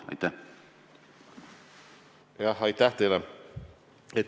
Aitäh teile!